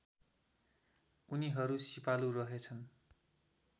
उनीहरू सिपालु रहेछन्